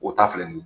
O ta filɛ nin ye